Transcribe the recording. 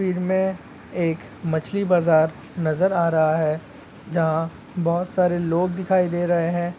भीड़ में एक मछली बाजार नजर आ रहा है जहाँ बहुत सारे लोग दिखाई दे रहे है।